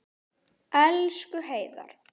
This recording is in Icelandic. Elsku Heiðar.